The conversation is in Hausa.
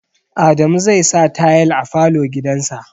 Adamu zai sa tayal a falo gidan sa